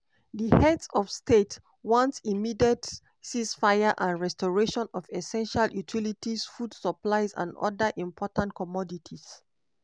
di heads of state want immediate ceasefire and restoration of essential utilities food supplies and oda important commodities.